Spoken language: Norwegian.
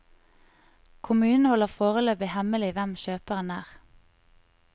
Kommunen holder foreløpig hemmelig hvem kjøperen er.